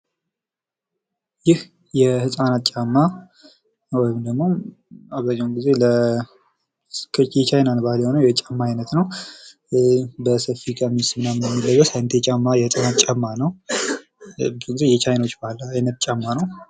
ይህ የህጻናት ጫማ ወይም ደግሞ የቻይና ባህል አይነት ጫማ ሲሆን፤ ብዙ ጊዜ በሰፊ ቀሚስ የሚለበስ የጫማ አይነት ነው።